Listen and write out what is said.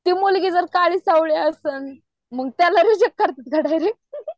ती मुलगी जर काळी सावळी असल मंग तर रिजेक्ट करतात